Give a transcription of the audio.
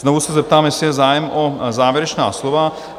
Znovu se zeptám, jestli je zájem o závěrečná slova?